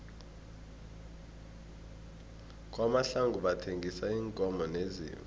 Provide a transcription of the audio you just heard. kwamahlangu bathengisa iinkomo neziimvu